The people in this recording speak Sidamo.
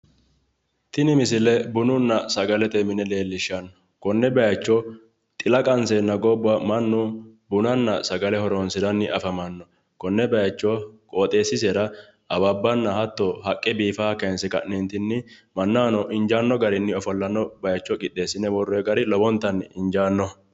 tini misile bununna sagalete mine leellishshanno konne bayiicho xila qanseenna mannu bunanni sagale horonsiranni afamanno konne bayiicho qooxeessisera awabbanna hatto haqqe biifaaha kayinse ka'neentinni mannahono injaanno garinni ofollate bayicho qixxeessine worroonni gari lowontanni injaanno.